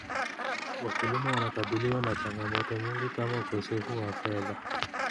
Wakulima wanakabiliwa na changamoto nyingi kama ukosefu wa fedha.